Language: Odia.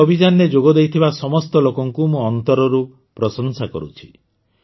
ଏହି ଅଭିଯାନରେ ଯୋଗଦେଇଥିବା ସମସ୍ତ ଲୋକଙ୍କୁ ମୁଁ ଅନ୍ତରରୁ ପ୍ରଶଂସା କରୁଛି